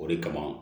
O de kama